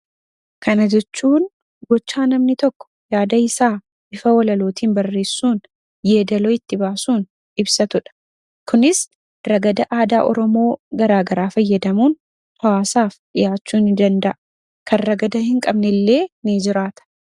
Kana jechuun gochaa namni tokko yaadasaa bifa walalootiin barreessuun yeedaloo itti baasuun ibsatudha. Kunis ragada aadaa oromoo garaagaraa fayyadamuun hawaasaaf dhiyaachuu ni danda'a. Kan ragada hin qabnellee ni jiraata.